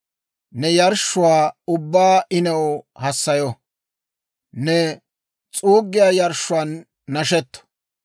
Ne yarshshuwaa ubbaa I new hassayo; ne s'uuggiyaa yarshshuwaan nashetto.